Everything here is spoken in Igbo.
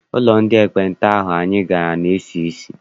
Ụlọ ndị ekpenta ahụ anyị gara na-esi isi.